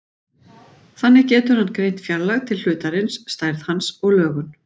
Þannig getur hann greint fjarlægð til hlutarins, stærð hans og lögun.